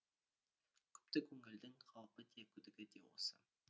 күпті көңілдің қаупі де күдігі де осы